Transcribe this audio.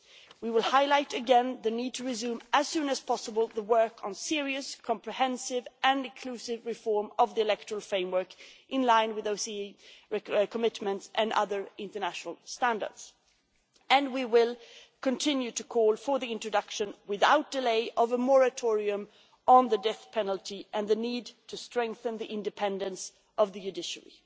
We will highlight again the need to resume as soon as possible the work on serious, comprehensive and inclusive reform of the electoral framework in line with OSCE commitments and other international standards, and we will continue to call for the introduction without delay of a moratorium on the death penalty and the need to strengthen the independence of the judiciary.